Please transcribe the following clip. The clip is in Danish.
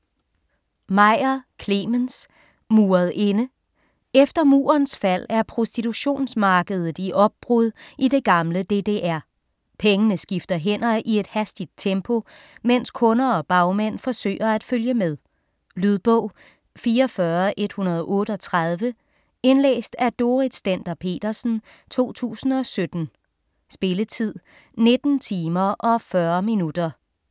Meyer, Clemens: Muret inde Efter murens fald er prostitutionsmarkedet i opbrud i det gamle DDR. Pengene skifter hænder i et hastigt tempo, mens kunder og bagmænd forsøger at følge med. Lydbog 44138 Indlæst af Dorrit Stender-Petersen, 2017. Spilletid: 19 timer, 40 minutter.